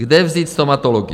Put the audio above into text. Kde vzít stomatology?